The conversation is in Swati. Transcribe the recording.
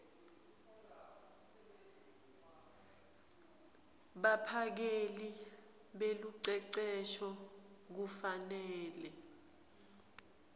baphakeli belucecesho kufanele